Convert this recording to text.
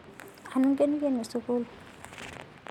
Anu ingeniken sukul